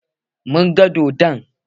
Mun gan dodon.